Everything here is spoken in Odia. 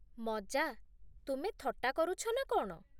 ମଜା? ତୁମେ ଥଟ୍ଟା କରୁଛ ନା କଣ ?